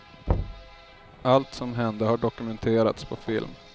Allt som hände har dokumenterats på film.